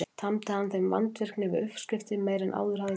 Tamdi hann þeim vandvirkni við uppskriftir meiri en áður hafði tíðkast.